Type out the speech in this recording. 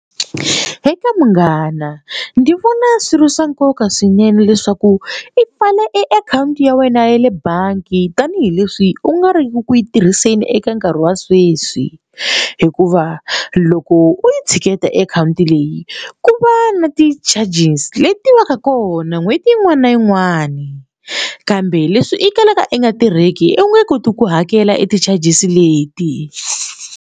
Eka munghana ndzi vona swi ri swa nkoka swinene leswaku i pfale e akhawunti ya wena ya le bangi tanihileswi u nga ri ku yi tirhiseni eka nkarhi wa sweswi hikuva loko u yi tshiketa e akhawunti leyi ku va na ti-charges leti va ka kona n'hweti yin'wana na yin'wani kambe leswi i kalaka i nga tirheki u nge koti ku hakela e ti-charges leti.